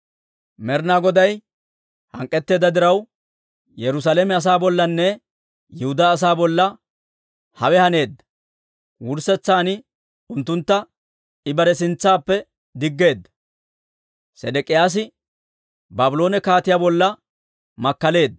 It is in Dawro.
Med'ina Goday hank'k'etteedda diraw, Yerusaalame asaa bollanne Yihudaa asaa bolla hawe haneedda; wurssetsan unttuntta I bare sintsaappe diggeedda. Sedek'iyaasi Baabloone kaatiyaa bolla makkaleedda.